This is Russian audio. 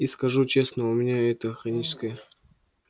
и скажу честно у меня это хроническое